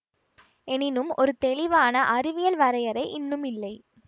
எனினும் ஒரு தெளிவான அறிவியல் வரையறை இன்னும் இல்லை